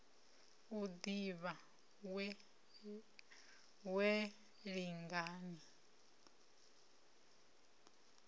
u ni ḓivha wee lingani